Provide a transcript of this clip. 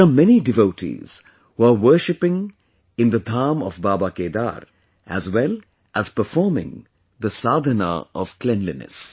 There are many devotees who are worshiping in the Dham of Baba Kedar, as well as performing the sadhna of cleanliness